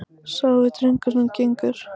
Sá er drengur sem gengur.